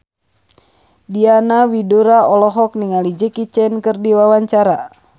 Diana Widoera olohok ningali Jackie Chan keur diwawancara